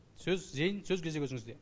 сөз зейін сөз кезегі өзіңізде